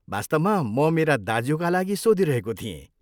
वास्तवमा म मेरा दाज्युका लागि सोधिरहेको थिएँ।